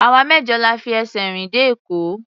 Àwa mẹ́jọ la fi ẹsẹ̀ rìn dé Èkó.